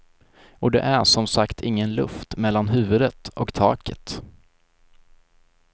Och det är som sagt ingen luft mellan huvudet och taket.